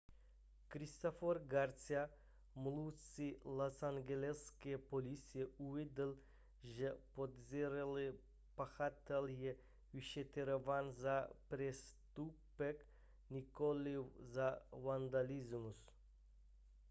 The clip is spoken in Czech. christopher garcia mluvčí losangeleské policie uvedl že podezřelý pachatel je vyšetřován za přestupek nikoliv za vandalismus